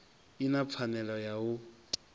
i na pfanelo ya u